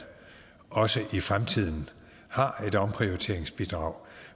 også i fremtiden har et omprioriteringsbidrag